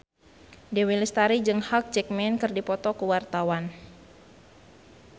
Dewi Lestari jeung Hugh Jackman keur dipoto ku wartawan